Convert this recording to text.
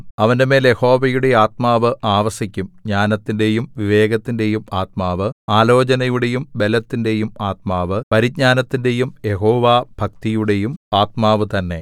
അവന്റെമേൽ യഹോവയുടെ ആത്മാവ് ആവസിക്കും ജ്ഞാനത്തിന്റെയും വിവേകത്തിന്റെയും ആത്മാവ് ആലോചനയുടെയും ബലത്തിന്റെയും ആത്മാവ് പരിജ്ഞാനത്തിന്റെയും യഹോവാഭക്തിയുടെയും ആത്മാവുതന്നെ